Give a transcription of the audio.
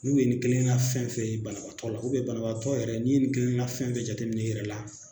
N'u ye nin kelen ka fɛn fɛn ye banabaatɔ la banabagatɔ yɛrɛ n'i ye nin kelenna fɛn jate minɛ i yɛrɛ la